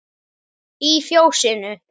Í Fjósinu